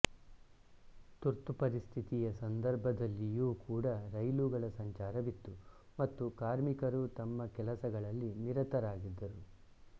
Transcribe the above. ತುರ್ತುಪರಿಸ್ಥಿತಿಯ ಸಂರ್ಧಭದಲ್ಲಿಯೂ ಕೂಡ ರೈಲುಗಳ ಸಂಚಾರವಿತ್ತು ಮತ್ತು ಕಾರ್ಮಿಕರು ತಮ್ಮ ಕೆಲಸಗಳಲ್ಲಿ ನಿರತರಾಗಿದ್ದರು